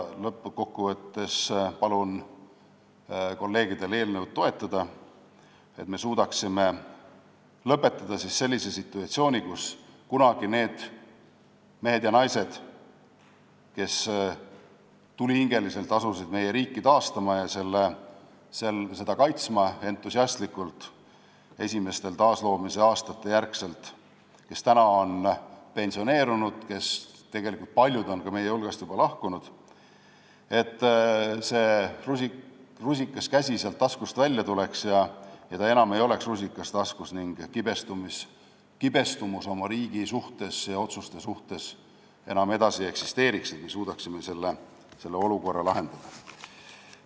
Lõppkokkuvõtet tehes palun kolleegidel eelnõu toetada, et me suudaksime lõpetada selle situatsiooni, kus nendel meestel ja naistel, kes kunagi, esimestel aastatel pärast meie taasiseseisvumist, asusid tulihingeliselt meie riiki taastama ja entusiastlikult kaitsma ja kes tänaseks on pensioneerunud , see rusikas käsi taskust välja tuleks ja ta enam ei oleks rusikas ning kibestumust oma riigi ja selle otsuste suhtes enam ei eksisteeriks, vaid me suudaksime selle olukorra lahendada.